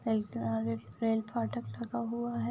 Rail फाटक लगा हुआ है।